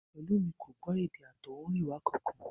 Pẹ̀lúmi kò gbọ́ èdè àtọ̀húnrìnwá kankan